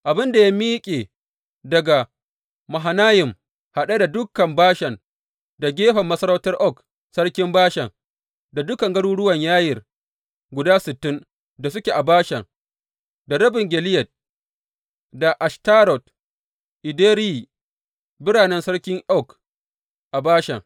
Abin da ya miƙe daga Mahanayim haɗe da dukan Bashan, da gefen masarautar Og sarkin Bashan, da dukan garuruwan Yayir guda sittin da suke a Bashan, da rabin Gileyad, da Ashtarot, Edireyi biranen sarki Og a Bashan.